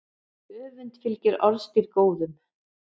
Öfund fylgir orðstír góðum.